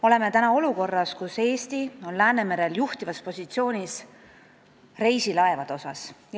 Oleme täna olukorras, kus Eesti on Läänemerel juhtivas positsioonis reisilaevade poolest.